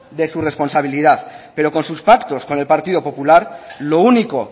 de su responsabilidad pero con su pactos con el partido popular lo único